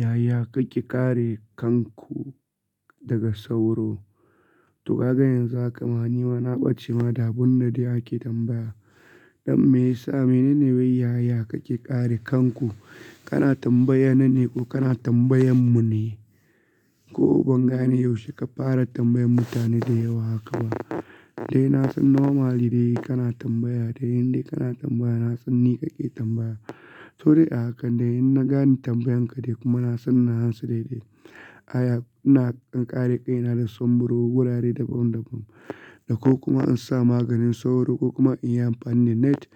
Yaya kake kare kanku daga sauro? To kaga yanzu haka ma nima na ɓace ma da abun da dai ake tambaya. Don me ya sa, menene wai yaya kake kare kanku? Kana tambayana ne ko kana tambayan mu ne? Ko banga ne yaushe ka fara tambayar mutane da yawa haka ba. Dai na san normally dai kana tambaya, dai inda kana tambaya na san ni kake tambaya. To dai a haka, dai inna gane tambayan ka dai kuma na san na hansa daidai. Yaya ina kare kai na da son buro gurare dabam dabam. Da ko kuma in sa maganin sauro ko kuma in yi amfani da net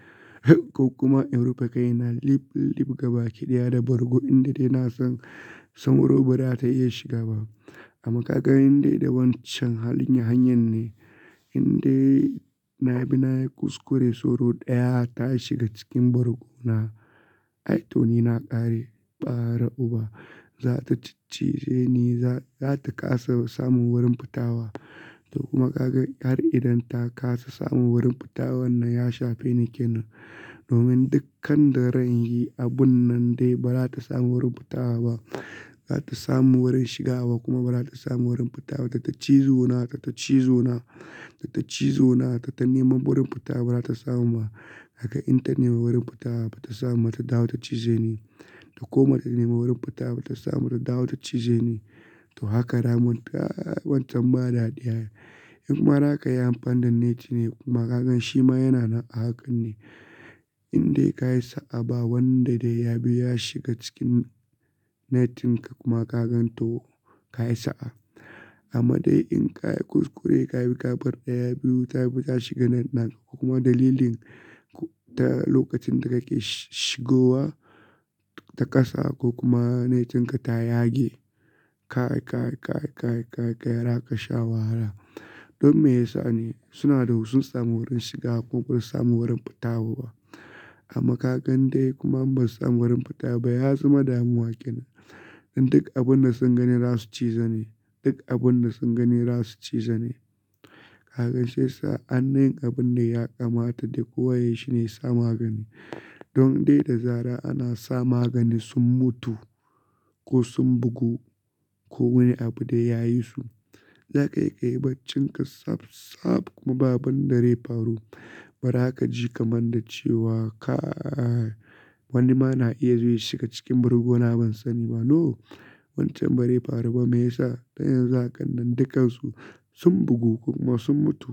ko kuma in rufe kai na lip lip gaba kiɗaya da bargo inda dai na san sauro ba da ta iya shiga ba. Amma kaga in dai da wancan halin hanyar ne, inda dai na bi na yi kuskure sauro ɗaya ta shiga cikin bargo na. Ai to ni na ƙare ɓare uba, za ta cic cize ni, za ta kasa samun wurin fita wa. To kuma kaga in yar idan ta ƙasa samun wurin fita wannan ya shafe ni ke nan. Domin dukkan da ranyi abun nan dai ba za ta samu wurin fita ba. Ba za ta samu wurin shiga ba kuma ba za ta samu wurin fita ba. Ta cizo na, ta cizo na, ta cizo na, ta nemi wurin fita ba za ta samu ba. Haka in ta nemi wurin fita ba ta samu ba ta dawo ta cize ni. To koma ta nemi wurin fita ba ta samu ba ta dawo ta cize ni. To haka ramun ta wancan ma da ɗiya. In kuma haka yi amfani da net ne kuma kagan shi ma yana nan a hakan ne. Inda ka yi sa'a ba wanda dai ya bi ya shiga cikin net in ka kuma kagan to ka yi sa'a. Amma dai in ka yi kuskure ka bi ka bar ɗaya biyu ta bi ta shiga net na kuma dalilin ta lokacin da ka ke shigowa ta kasa ko kuma net in ka ta yage. Ka, ka, ka, ka, ka, ka, ka, ka, ka, ka, ka, zaka sha wahala. Don me ya sa ne suna da husun samun wurin shiga kuma ba su samu wurin fita ba. Amma kagan dai kuma in ba su samu wurin fita ba ya zama damuwa ke nan. In duk abun da sun gani za su cize ne. Duk abun da sun gani za su cize ne. Kagan shiya sa anni hin abun da ya kamata dai kowa yayi shi ne ya sa magani. Don dai da zara'ana sa magani sun mutu ko sun bugu ko wani abu da ya yi su. Za ka iya kayi baccin ka tsaftsaf kuma ba abun da zai faru. Bara ka ji kamar da cewa kaa wani ma na iya zuwa ya shiga cikin bargo na ban sani ba. No! Wancan ba rai faru ba. Me ya sa? Dan yanzu haka nan dukkan su sun bugu kuma sun mutu.